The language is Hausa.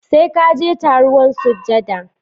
Sai ka je taruwan sujada